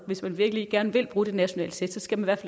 hvis man virkelig gerne vil bruge de nationale test skal man